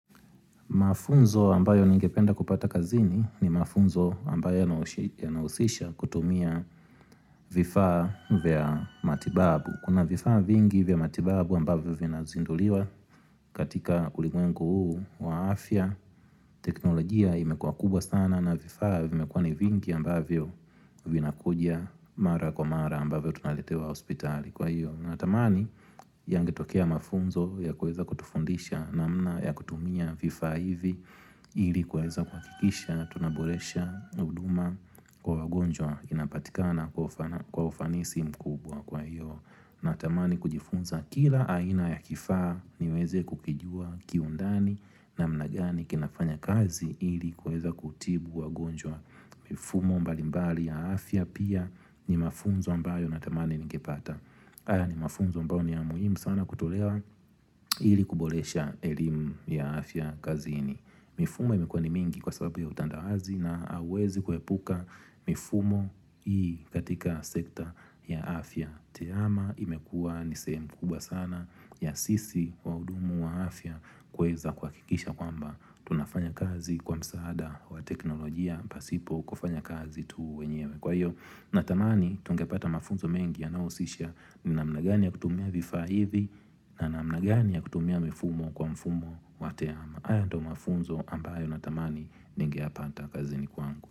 Mafunzo ambayo ningependa kupata kazini ni mafunzo ambayo yanahusisha kutumia vifaa vya matibabu. Kuna vifaa vingi vya matibabu ambavyo vinazinduliwa katika ulimwengu huu wa afya. Teknolojia imekuwa kubwa sana na vifaa vimekuwa ni vingi ambavyo vinakuja mara kwa mara ambavyo tunaletewa hospitali. Natamani yangetokea mafunzo ya kuweza kutufundisha namna ya kutumia vifaa hivi ili kuweza kuhakikisha tunaboresha huduma kwa wagonjwa inapatikana kwa ufanisi mkubwa. Kwahiyo, natamani kujifunza kila aina ya kifaa niweze kukijua kiundani namna gani kinafanya kazi ili kuweza kutibu wagonjwa mfumo mbalimbali ya afya pia ni mafunzo ambayo natamani ningepata. Haya ni mafunzo ambayo ni ya muhimu sana kutolewa ili kuboresha elimu ya afya kazini. Mifumo imekuwa ni mingi kwa sababu ya utandawazi na hauwezi kuepuka mifumo hii katika sekta ya afya. Tehama imekuwa nisehemu kubwa sana ya sisi wahudumu wa afya kuweza kuhakikisha kwamba tunafanya kazi kwa msaada wa teknolojia pasipo kufanya kazi tu wenyewe. Kwahiyo, Natamani tungepata mafunzo mengi yanayohusisha ni namna gani ya kutumia vifaa hivi na namna gani ya kutumia mifumo kwa mfumo wa tehama. Ambayo natamani ningeyapata kazini kwangu.